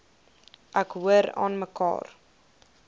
ek hoor aanmekaar